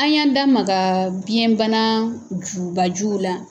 An y'an damaga biɲɛ bana jubajuw la.